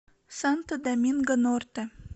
санто доминго норте